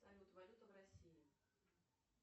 салют валюта в россии